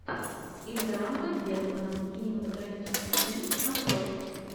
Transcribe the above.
ингмара бергмана кинематографический фильм открой